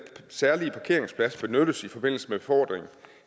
særlige parkeringsplads benyttes i forbindelse med befordring